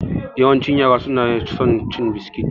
Yawancin yara su na son cin biskit.